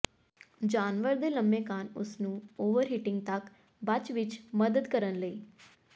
ਜਾਨਵਰ ਦੇ ਲੰਮੇ ਕੰਨ ਉਸ ਨੂੰ ਓਵਰਹੀਟਿੰਗ ਤੱਕ ਬਚ ਵਿੱਚ ਮਦਦ ਕਰਨ ਲਈ